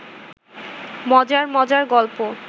মজার মজার গলপ